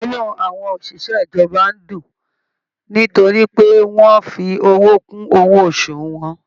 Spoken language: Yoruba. Inú àwọn oṣiṣẹ ìjọba n dùn nítorí pé wọn fi owó kún owó oṣù wọn.